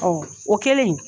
Ɔ o kɛlen.